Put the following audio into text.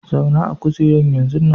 Zauna a'kujeran yanzun nan!